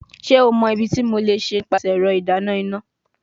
Ṣe o mọ ibiti mo le ṣe nipasẹ ẹrọ idana ina?